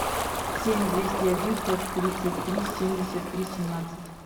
семь двести один сто тридцать три семьдесят три семнадцать